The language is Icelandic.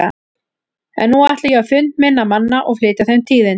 En nú ætla ég á fund minna manna og flytja þeim tíðindin.